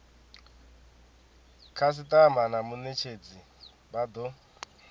khasitama na munetshedzi vha do